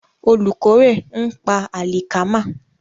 Olùkórè ń pa àlìkámà.